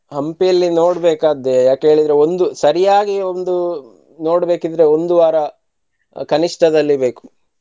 Hampi ಯಲ್ಲಿ ನೋಡಬೇಕಾದ್ದೇ ಯಾಕ ಹೇಳಿದ್ರೆ ಒಂದು ಸರಿಯಾಗಿ ಒಂದು ನೋಡ್ಬೇಕಿದ್ರೆ ಒಂದು ವಾರ ಕನಿಷ್ಠದಲ್ಲಿ ಬೇಕು.